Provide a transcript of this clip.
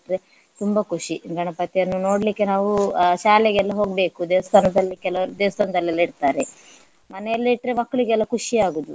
ತುಂಬಾ ಖುಷಿ ಗಣಪತಿಯನ್ನು ನೋಡ್ಲಿಕ್ಕೆ ನಾವು ಶಾಲೆಗೆಲ್ಲ ಹೋಗ್ಬೇಕು ದೇವಸ್ಥಾನದಲ್ಲಿ ಕೆಲವರು ದೇವಸ್ಥಾನದಲ್ಲೆಲ್ಲ ಇಡ್ತಾರೆ. ಮನೆಯಲ್ಲಿ ಇಟ್ರೆ ಮಕ್ಳಿಗೆಲ್ಲ ಖುಷಿಯಾಗುವುದು.